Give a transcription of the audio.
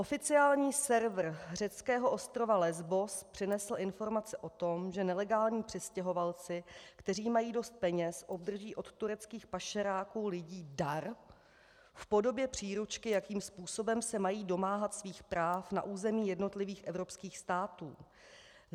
Oficiální server řeckého ostrova Lesbos přinesl informace o tom, že nelegální přistěhovalci, kteří mají dost peněz, obdrží od tureckých pašeráků lidí dar v podobě příručky, jakým způsobem se mají domáhat svých práv na území jednotlivých evropských států.